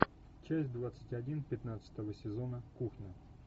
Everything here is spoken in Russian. часть двадцать один пятнадцатого сезона кухня